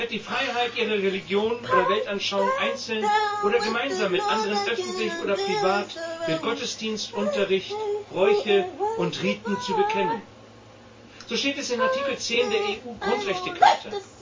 Sie hat die Freiheit, ihre Religion oder Weltanschauung einzeln oder gemeinsam mit anderen öffentlich oder privat durch Gottesdienst, Unterricht, Bräuche und Riten zu bekennen. So steht es in Artikel 10 der EU Grundrechtecharta.